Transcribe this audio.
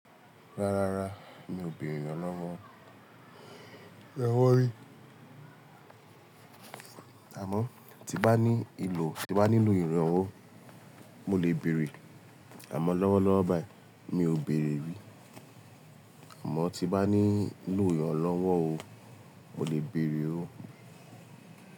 Ráráá, mi ò béèrè eeyan lọ́wọ́. Ọlọ́wọ́ rí. Àmọ́ tí bá ní ìlò, tí bá nílò ìrànwọ́, mo lè bèèrè. Àmọ́ lọ́wọ́lọ́wọ́ báyìí, mi ò bèèrè rí. Àmọ́ tí bá ní lò iranlọwọ o, mo lè bèèrè o.